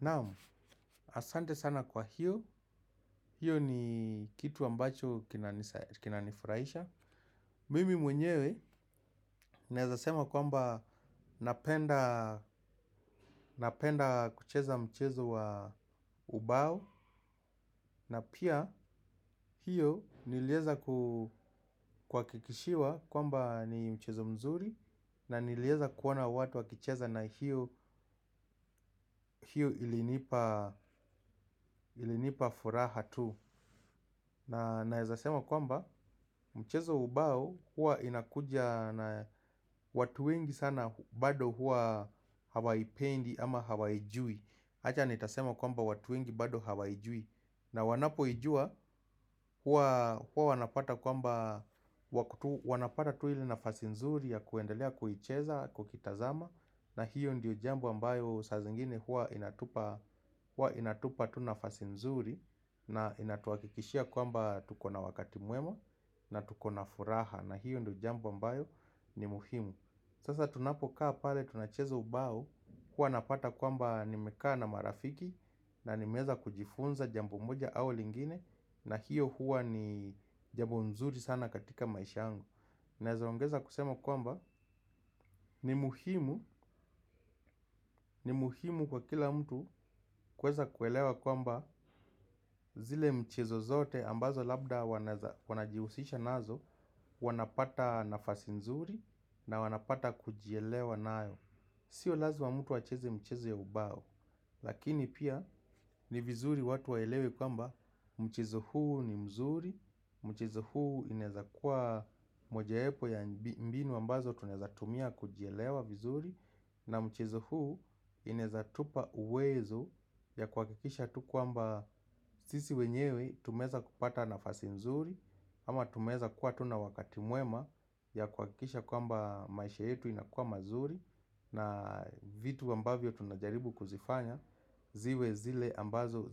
Naam, asante sana kwa hiyo. Hiyo ni kitu ambacho kina nifurahisha. Mimi mwenyewe naweza sema kwamba napenda napenda kucheza mchezo wa ubao. Na pia hiyo niliweza kuhakikishiwa kwamba ni mchezo mzuri. Na niliweza kuona watu wakicheza na hiyo ilinipa furaha tu. Na naweza sema kwamba mchezo wa ubao huwa inakuja na watu wengi sana bado huwa hawaipendi ama hawaijui. Acha nitasema kwamba watu wengi bado hawaijui. Na wanapoijua huwa wanapata kwamba wa kutu wanapata tu ile nafasi nzuri ya kuendelea kuicheza kuitazama. Na hiyo ndiyo jambo ambayo saa zingine huwa inatupa tu nafasi nzuri. Na inatuakikishia kwamba tukona wakati mwema na tuko na furaha. Na hiyo ndiyo jambo ambayo ni muhimu. Sasa tunapokaa pale tuna cheza ubao hua napata kwamba nimekaa na marafiki. Na nimeweza kujifunza jambo moja au lingine. Na hiyo huwa ni jambo nzuri sana katika maisha yangu. Naeza ongeza kusema kwamba ni muhimu ni muhimu kwa kila mtu kuweza kuelewa kwamba zile mchezo zote ambazo labda wana jihusisha nazo wanapata nafasi nzuri na wanapata kujielewa nayo. Sio lazima mtu acheze mchezo ya ubao, lakini pia ni vizuri watu waelewe kwamba mchezo huu ni mzuri, mchezo huu inaweza kua moja wapo ya mbinu ambazo tunaweza tumia kujielewa vizuri. Na mchezo huu inaweza tupa uwezo ya kuhakikisha tu kwamba sisi wenyewe tumeweza kupata nafasi nzuri. Ama tumeweza kuwa tu na wakati mwema ya kuhakikisha kwamba maisha yetu inakua mazuri. Na vitu ambavyo tunajaribu kuzifanya ziwe zile ambazo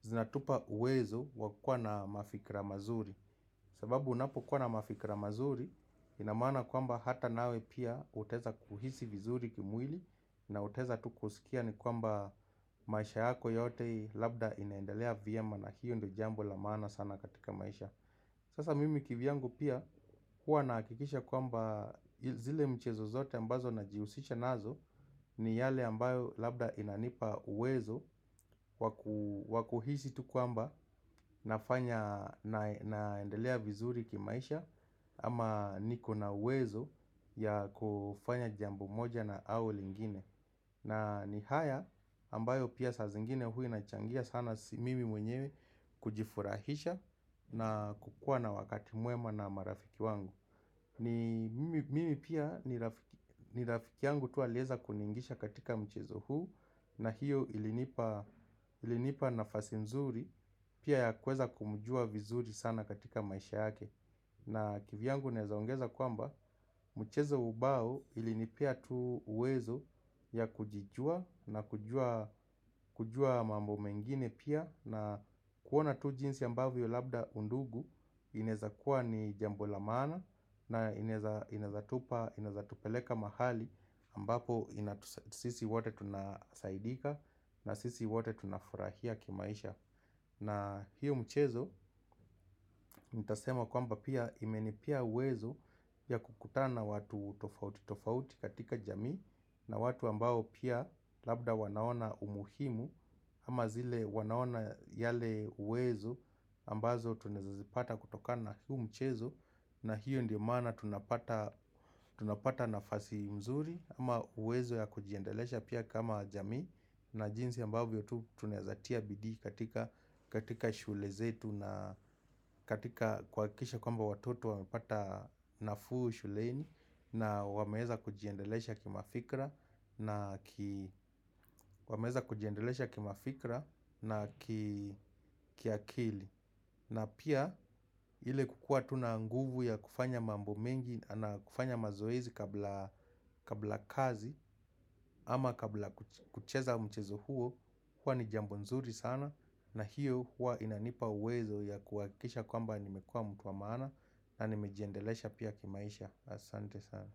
zinatupa uwezo wakua na mafikra mazuri. Sababu unapo kua na mafikra mazuri inamaana kwamba hata nawe pia utaweza kuhisi vizuri kimwili na utaweza tu kusikia ni kwamba maisha yako yote labda inaendelea vyema na hiyo ndio jambo la maana sana katika maisha. Sasa mimi ki vyangu pia hua nakikisha kwamba zile mchezo zote ambazo najihusisha nazo ni yale ambayo labda inanipa uwezo wakuhisi tu kwamba naendelea vizuri kimaisha ama niko na uwezo ya kufanya jambo moja na au lingine. Na ni haya ambayo pia saa zingine hua ina changia sana mimi mwenyewe kujifurahisha na kukua na wakati mwema na marafiki wangu mimi pia ni rafiki yangu tu aliweza tu kuniingisha katika mchezo huu na hiyo ilinipa nafasi nzuri pia ya kueza kumujua vizuri sana katika maisha yake. Na kivyangu naweza ongeza kwamba michezo ya ubao ilinipea tu uwezo ya kujijua na kujua mambo mengine pia. Na kuona tu jinsi ambavyo labda undugu inawezakuwa ni jambo la maana na inaweza tupa, inaweeza tupeleka mahali ambapo sisi wote tunasaidika na sisi wote tunafurahia kimaisha. Na hiyo mchezo nitasema kwamba pia imeni pea uwezo ya kukutana watu tofauti katika jamii na watu ambao pia labda wanaona umuhimu ama zile wanaona yale uwezo ambazo tunaweza zipata kutokana huo mchezo na hio ndio maana tunapata nafasi nzuri ama uwezo wa kujiendeleza pia kama jamii na jinsi ambavyo tu tu tunaweza tia bidii katika shughuli zetu tuna katika kuhakikisha kwamba watoto wamepata nafuu shuleni na wameweza kujiendelesha kima fikira na kiakili. Na pia ile kukua tu na nguvu ya kufanya mambo mengi na kufanya mazoezi kabla kabla kazi ama kabla kucheza mchezo huo huwa ni jambo nzuri sana. Na hiyo huwa inanipa uwezo ya kuhakikisha kwamba nimekua mtu wa maana na nimejiendelesha pia kimaisha asante sana.